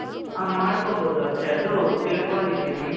ಆ ಮಾಡ್ಕೊಂಬೋದು ಅಕ್ಷಯ್. ಅದೂ ತಿಳ್ಕೊಂಡಿದೀನಿ.